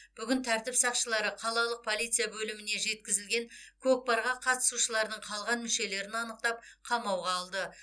бүгін тәртіп сақшылары қалалық полиция бөліміне жеткізілген кокпарға қатысушылардың қалған мүшелерін анықтап қамауға алды